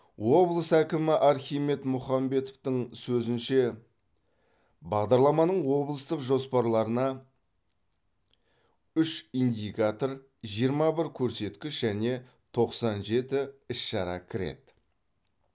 облыс әкімі архимед мұхамбетовтің сөзінше бағдарламаның облыстық жоспарларына үш индикатор жиырма бір көрсеткіш және тоқсан жеті іс шара кіреді